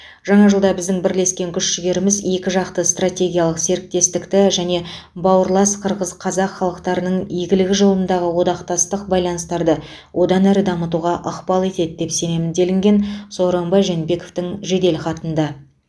жаңа жылда біздің бірлескен күш жігеріміз екі жақты стратегиялық серіктестікті және бауырлас қырғыз қазақ халықтарының игілігі жолындағы одақтастық байланыстарды одан әрі дамытуға ықпал етеді деп сенемін делінген сооронбай жээнбековтің жеделхатында